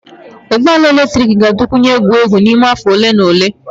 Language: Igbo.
Ụgbọ ala eletrik ga-adịwanye ewu ewu n'ime afọ ole na ole.